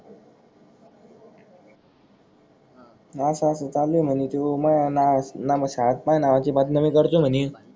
हे असा असा चालूये म्हणे त्यो मी नाव शाळेत माया नावाची बदनामी करतो म्हणे